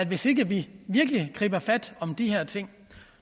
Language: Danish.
hvis ikke vi virkelig griber fat om de her ting